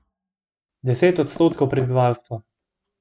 Deset odstotkov prebivalstva.